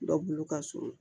Dɔ bolo ka surun